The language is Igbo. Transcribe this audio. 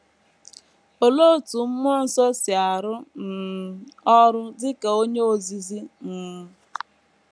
Olee otú mmụọ nsọ si arụ um ọrụ dị ka onye ozizi um?